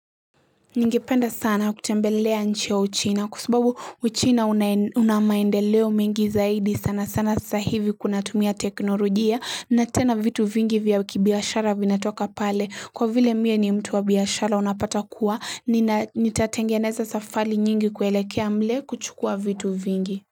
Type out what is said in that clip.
Ningependa sana kutembelea nchi ya uchina kwa sababu uchina una maendeleo mengi zaidi sana sana saa hivi kunatumia teknolojia na tena vitu vingi vya kibiashara vinatoka pale kwa vile mie ni mtu wa biashara unapata kuwa nitatengeneza safari nyingi kuelekea mle kuchukua vitu vingi.